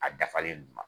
A dafalen d'u ma